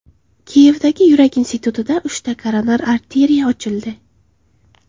Kiyevdagi yurak institutida uchta koronar arteriya ochildi.